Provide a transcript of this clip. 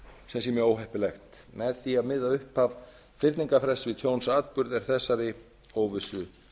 sem sé mjög óheppilegt með því að miða upphaf fyrningarfrests við tjónsatburði er þessari óvissu